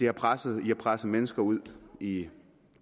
har presset presset mennesker ud i